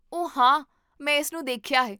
ਓ ਹਾਂ! ਮੈਂ ਇਸ ਨੂੰ ਦੇਖਿਆ ਹੈ